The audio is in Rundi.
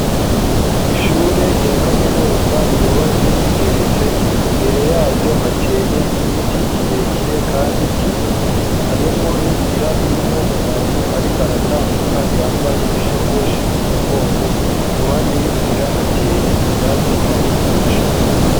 Ishure rya kaminuza ryubatse rigeretse imbere yaryo hateye igiti kirekire, kandi kinini harimwo n'inzira irimwo umuntu, ariko aratambuka yambaye ishakoshi ku mugongo iruhande y'inzira hateye ivyatsi hamwe n'amashurwe.